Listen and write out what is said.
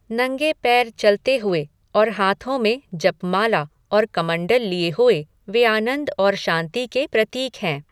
नंगे पैर चलते हुए और हाथों में जपमाला और कमंडल लिए हुए वे आनंद और शांति के प्रतीक हैं।